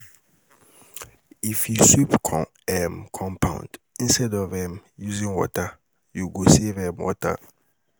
If you sweep um compound instead of um using water, you go um save water.